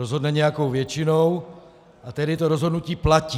Rozhodne nějakou většinou, a tedy to rozhodnutí platí.